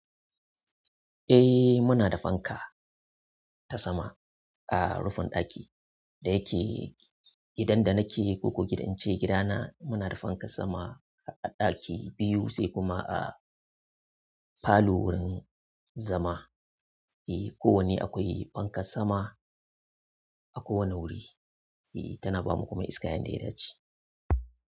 Eh muna da fanka ta sama a rufin ɗaki da yake gidan da nake koko gidan ce gidana muna da fankan sama a ɗaki biyu sai kuma a falo wurin zama. Eh, ko wanne akwai fankan sama a kowane wuri. Eh tana bamu kuma iska yanda ya dace.